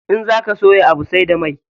In zaka soya Abu sai da mai.